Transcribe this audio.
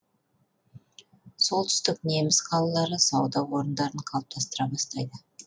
солтүстік неміс қалалары сауда орындарын қалыптастыра бастайды